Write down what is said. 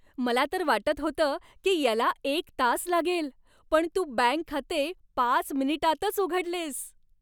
मला तर वाटत होतं की याला एक तास लागेल पण तू बँक खाते पाच मिनिटांतच उघडलेस.